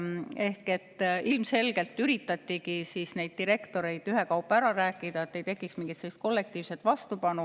Ehk ilmselgelt üritati neid direktoreid ühekaupa ära rääkida, et ei tekiks mingit kollektiivset vastupanu.